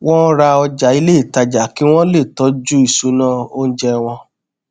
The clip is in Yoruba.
wọn ra ọjà ilé ìtajà kí wọn le tọjú ìṣúná oúnjẹ wọn